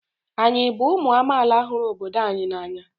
Anyị bụ ụmụ amaala hụrụ obodo anyị n'anya?